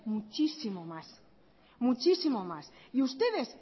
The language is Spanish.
muchísimo más muchísimo más y ustedes